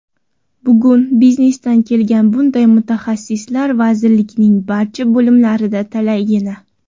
Bugun biznesdan kelgan bunday mutaxassislar vazirlikning barcha bo‘limlarida talaygina.